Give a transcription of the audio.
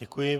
Děkuji.